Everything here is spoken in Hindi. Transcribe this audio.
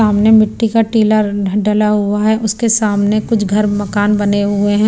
सामने मिट्टी का टीला डला हुआ हैउसके सामने कुछ घर मकान बने हुए हैं।